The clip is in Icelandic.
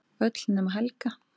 Öll nema Helga.